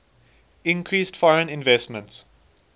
increased foreign investment